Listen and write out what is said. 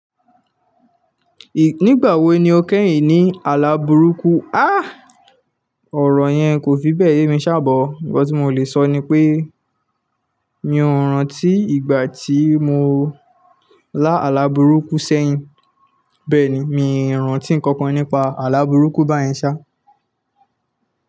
Nígbà wo ni o kẹ́yìn ní àlàbùrúkú? Há! Ọ̀rọ̀ yẹn kò fi bẹ́ẹ̀ yé mi sá but. Ǹkan tí mo lè sọ ni pé mi ò rántí ìgbà tí mo lá àlàbùrúkú sẹ́yìn, bẹ́ẹ̀ ni, mi ò rántí nǹkan kan nípa àlàbùrúkú bá yẹn sá.